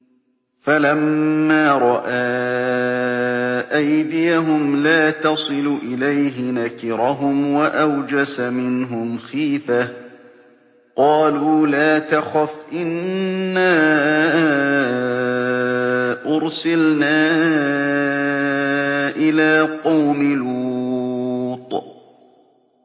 فَلَمَّا رَأَىٰ أَيْدِيَهُمْ لَا تَصِلُ إِلَيْهِ نَكِرَهُمْ وَأَوْجَسَ مِنْهُمْ خِيفَةً ۚ قَالُوا لَا تَخَفْ إِنَّا أُرْسِلْنَا إِلَىٰ قَوْمِ لُوطٍ